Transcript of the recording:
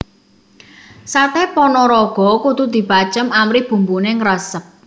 Saté Panaraga kudu dibacem amrih bumbune ngresep